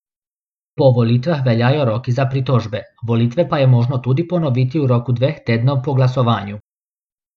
Po volitvah veljajo roki za pritožbe, volitve pa je možno tudi ponoviti v roku dveh tednov po glasovanju.